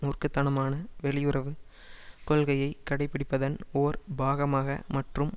மூர்க்க தனமான வெளியுறவு கொள்கையை கடைபிடிப்பதன் ஓர் பாகமாக மற்றும்